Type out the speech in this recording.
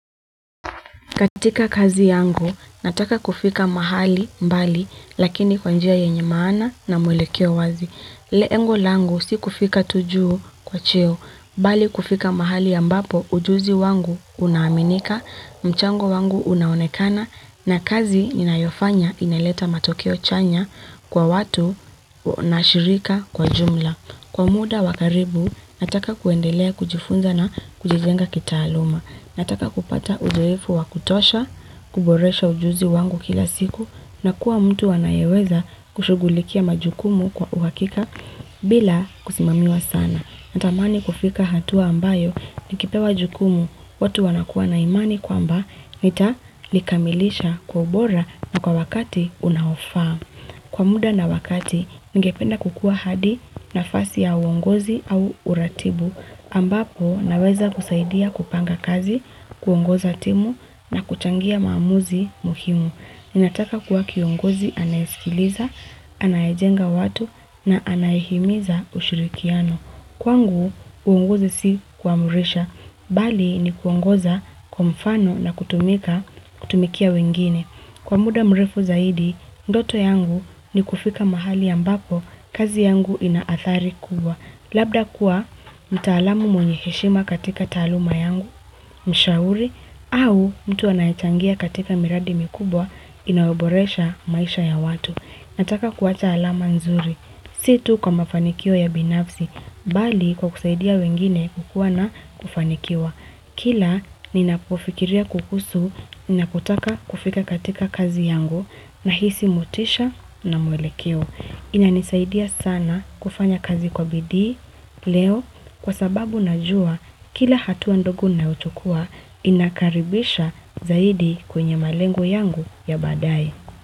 Katika kazi yangu, nataka kufika mahali mbali lakini kwa njia yenye maana na mwelekeo wazi. Lengo langu si kufika tu juu kwa cheo, bali kufika mahali ambapo ujuzi wangu unaaminika, mchango wangu unaonekana na kazi ninayofanya ineleta matokeo chanya kwa watu na shirika kwa jumla. Kwa muda wa karibu, nataka kuendelea kujifunza na kujijenga kitaaluma. Nataka kupata uzoefu wa kutosha, kuboresha ujuzi wangu kila siku, na kuwa mtu anayeweza kushughulikia majukumu kwa uhakika bila kusimamiwa sana. Natamani kufika hatua ambayo, nikipewa jukumu, watu wanakuwa na imani kwamba, Nitalikamilisha kwa ubora na kwa wakati unaofa. Kwa muda na wakati, ningependa kukuwa hadi nafasi ya uongozi au uratibu, ambapo naweza kusaidia kupanga kazi, kuongoza timu na kuchangia maamuzi muhimu. Ninataka kuwa kiongozi anayesikiliza, anayejenga watu na anayehimiza ushirikiano. Kwangu, uongozi si kuamurisha, bali ni kuongoza kwa mfano na kutumika kutumikia wengine. Kwa muda mrefu zaidi, ndoto yangu ni kufika mahali ambapo, kazi yangu inaathari kubwa. Labda kuwa, mtaalamu mwenye heshima katika taaluma yangu, mshauri, au mtu anayachangia katika miradi mikubwa, inayoboresha maisha ya watu. Nataka kuwa taalama nzuri, situ kwa mafanikio ya binafsi, bali kwa kusaidia wengine kukua na kufanikiwa. Kila ninapofikiria kukusu, ninapotaka kufika katika kazi yangu, nahisi motisha na mwelekeoo. Inanisaidia sana kufanya kazi kwa bidii, leo, kwa sababu najua, kila hatua ndogo nauchukua, inakaribisha zaidi kwenye malengo yangu ya baadaye.